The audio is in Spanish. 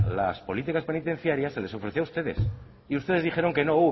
las políticas penitenciarias se les ofreció a ustedes y ustedes dijeron que no